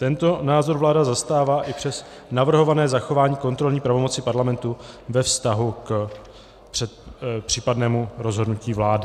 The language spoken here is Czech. Tento názor vláda zastává i přes navrhované zachování kontrolní pravomoci Parlamentu ve vztahu k případnému rozhodnutí vlády."